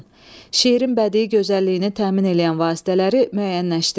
Şeirin bədii gözəlliyini təmin eləyən vasitələri müəyyənləşdirin.